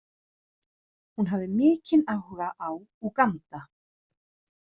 Hún hafði mikinn áhuga á Úganda.